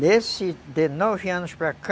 Nesse, de nove anos para cá,